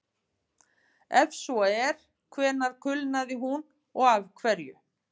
Ef svo er, hvenær kulnaði hún og af hverju?